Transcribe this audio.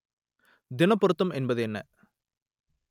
தினப் பொருத்தம் என்பது என்ன?